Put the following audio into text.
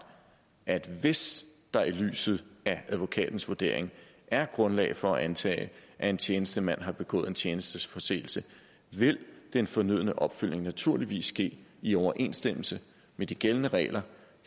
at hvis der i lyset af advokatens vurdering er grundlag for at antage at en tjenestemand har begået en tjenesteforseelse vil den fornødne opfølgning naturligvis ske i overensstemmelse med de gældende regler